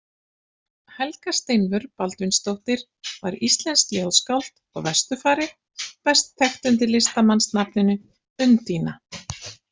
Helga Steinvör Baldvinsdóttir var íslenskt ljóðskáld og vesturfari best þekkt undir listamannsnafninu Undína.